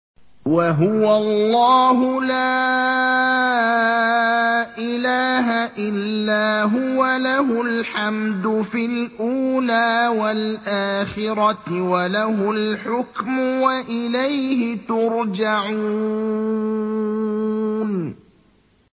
وَهُوَ اللَّهُ لَا إِلَٰهَ إِلَّا هُوَ ۖ لَهُ الْحَمْدُ فِي الْأُولَىٰ وَالْآخِرَةِ ۖ وَلَهُ الْحُكْمُ وَإِلَيْهِ تُرْجَعُونَ